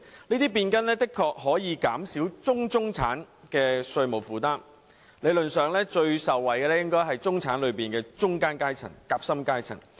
這些變更的確能減少"中中產"的稅務負擔；理論上，最受惠的應該是中產內的夾心階層。